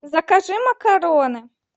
закажи макароны